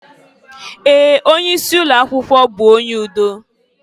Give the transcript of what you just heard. Ee! Onye isi ụlọ akwụkwọ bụ onye udo.